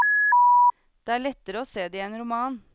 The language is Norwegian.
Det er lettere å se det i en roman.